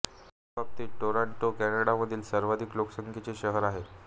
ह्या दोन्ही बाबतीत टोरॉंटो कॅनडामधील सर्वाधिक लोकसंख्येचे शहर आहे